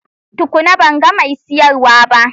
Tukuna! Ban ga mai siyarwa ba.